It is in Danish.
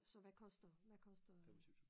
Så hvad koster hvad koster